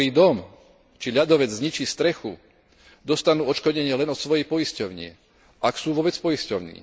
vyhorí dom či ľadovec zničí strechu, dostanú odškodnenie len od svojej poisťovne, ak sú vôbec poistení.